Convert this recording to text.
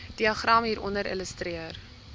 diagram hieronder illustreer